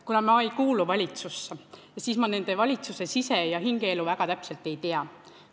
Kuna ma ei kuulu valitsusse, siis ma valitsuse sise- ja hingeelu väga täpselt ei tea.